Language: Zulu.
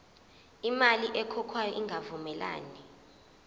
imali ekhokhwayo ingavumelani